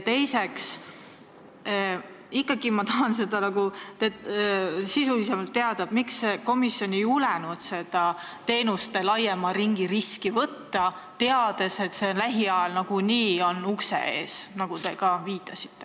Teiseks tahan ma ikkagi sisulisemalt teada, miks komisjon ei julgenud teenuste laiema ringi riski võtta, teades, et see lähiajal nagunii on ukse ees, nagu te ka viitasite.